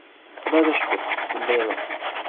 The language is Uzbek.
Xudoga shukr, bunday emas.